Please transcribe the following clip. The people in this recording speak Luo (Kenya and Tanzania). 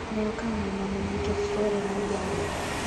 ne okawo ngimane nikech chwore ne jare